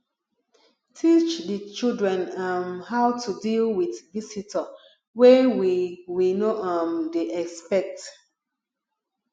teach di children um how to deal with visitor wey we we no um dey expect